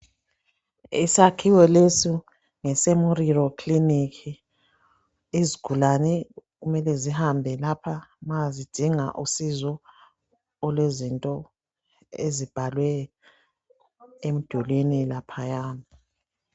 Isakhiwo leso ngeseMoriro kilinika izigulane kumele sihambe lapha ma zidinga usizo olwezinto ezibhalwe emdulwini laphaya.